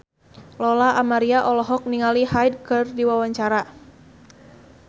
Lola Amaria olohok ningali Hyde keur diwawancara